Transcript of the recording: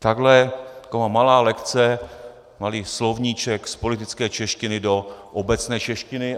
Takhle taková malá lekce, malý slovníček z politické češtiny do obecné češtiny.